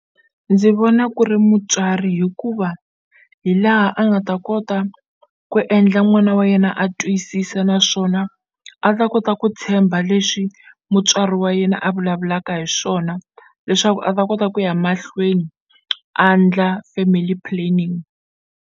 Ndzi vona ku ri mutswari hikuva hi laha a nga ta kota ku endla n'wana wa yena a twisisa naswona a ta kota ku tshemba leswi mutswari wa yena a vulavulaka hi swona leswaku a ta kota ku ya mahlweni a ndla family planning.